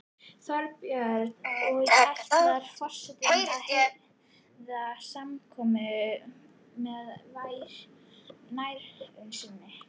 Þorbjörn: Og ætlar forsetinn að heiðra samkomuna með nærveru sinni?